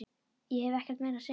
Ég hef ekkert meira að segja.